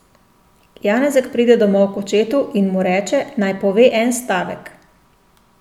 Janezek pride domov k očetu in mu reče, naj pove en stavek.